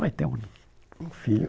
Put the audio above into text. Vai ter um um filho.